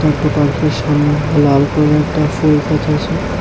সামনে লাল কালারের একটা ফুল গাছ আছে।